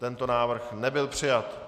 Tento návrh nebyl přijat.